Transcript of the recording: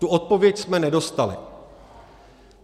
Tu odpověď jsme nedostali.